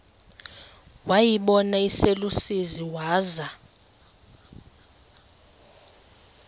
wayibona iselusizini waza